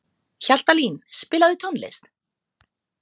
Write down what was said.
Hjaltalín, spilaðu tónlist.